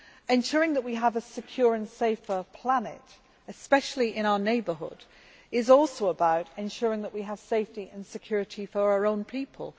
Ensuring that we have a secure and safer planet, especially in our neighbourhood, is also about ensuring that we have safety and security for our own people.